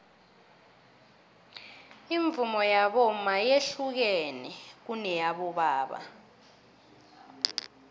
ivunulo yabomma yehlukene kuneyabobaba